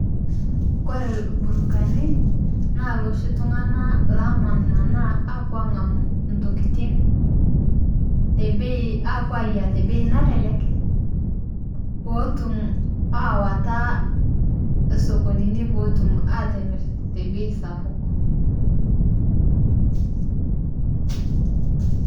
Kore irlburukani naa loshii tung'ana lomanmanaa apuo ang'amu ntokitin te bei apuo ang'amu ntokitin te bei apuo ayia te bei nalelek peetum awataa sokoninii peetum atimir te bei sapuk.